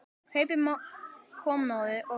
Kaupi kommóðu og vöggu.